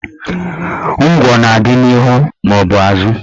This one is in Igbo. Ngwọ na-adị n'ihu maọbụ azụ